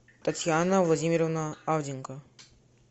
татьяна владимировна авденко